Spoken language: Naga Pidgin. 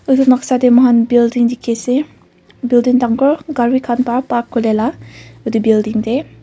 edu noksa de moikhan building dikhi ase building dangor gari khan pra park kure la edu building de.